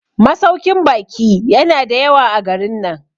masaukin baki yana da yawa a garin nan